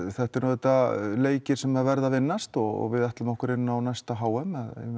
þetta eru auðvitað leikir sem verða að vinnast og við ætlum okkur inn á næsta h m